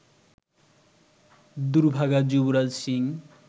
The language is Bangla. দুর্ভাগা যুবরাজ সিং